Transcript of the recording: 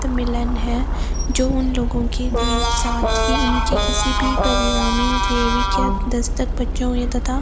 तब मिलन है जो उन लोगों के बीच साथी उनके किसी भी दस्तक तथा --